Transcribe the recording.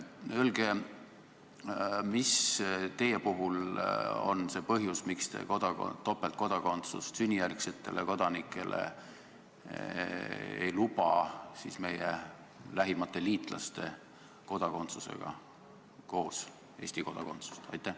Öelge, mis on teie puhul see põhjus, miks te ei luba Eesti sünnijärgsetele kodanikele topeltkodakondsust, s.t meie lähimate liitlaste kodakondsust koos Eesti kodakondsusega.